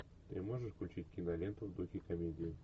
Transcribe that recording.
ты можешь включить киноленту в духе комедии